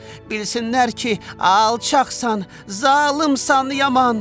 Bilsinlər ki, alçaqsan, zalımsan yaman.